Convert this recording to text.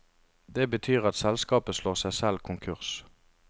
Det betyr at selskapet slår seg selv konkurs.